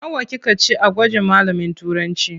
Nawa kika ci a gwajin malamin Turancı?